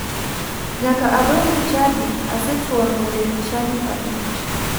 Nyaka adonj e chadi asetuang'o lep chadi 5.